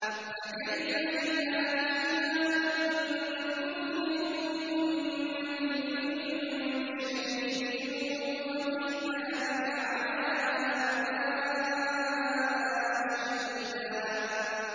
فَكَيْفَ إِذَا جِئْنَا مِن كُلِّ أُمَّةٍ بِشَهِيدٍ وَجِئْنَا بِكَ عَلَىٰ هَٰؤُلَاءِ شَهِيدًا